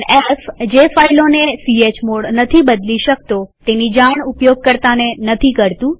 f160 જે ફાઈલોને chmod નથી બદલી શકતો તેની જાણ ઉપયોગકર્તાને નથી કરતુ